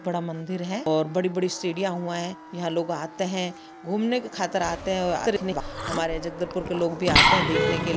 बड़ा मंदिर है और बड़ी-बड़ी सीढ़ियां हुए है यहाँ लोग आते है घूमने की खातिर आते है हमारे जगदलपुर के लोग भी आते है देखने के--